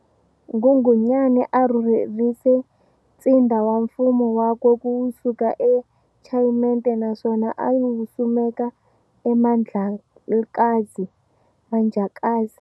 Nghunghunyani a rhurherise ntsindza wa mfumo wakwe ku suka eChayimeti naswona a wusimeka e Mandhlakazi, Manjacaze.